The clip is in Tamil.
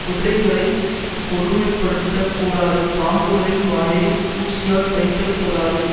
குதிரைகளை கொடுமைப்படுத்தக் கூடாது பாம்புகளின் வாயை ஊசியால் தைக்கக்கூடாது